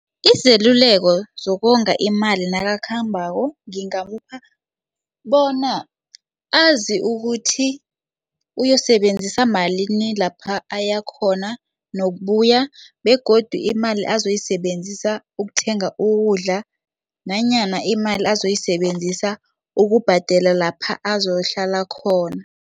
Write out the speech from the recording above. Izeluleko zokonga imali nakakhambako ngingamupha bona azi ukuthi uyosebenzisa malini lapha ayakhona nokubuya begodu imali azoyisebenzisa ukuthenga ukudla nanyana imali azoyisebenzisa ukubhadela lapha azokuhlala khona.